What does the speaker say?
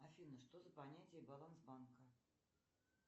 афина что за понятие баланс банка